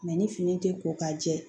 ni fini tɛ ko ka jɛ